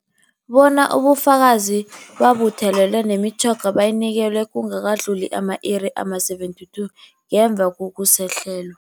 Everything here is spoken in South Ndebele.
Bona ubufakazi bubuthelelwe, nemitjhoga bayinikelwe kungakadluli ama-iri ama-72 ngemva kokusahlelwa.